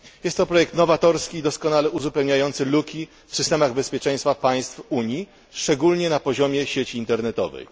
Jest to projekt nowatorski i doskonale uzupełniający luki w systemach bezpieczeństwa państw Unii, szczególnie na poziomie sieci internetowej.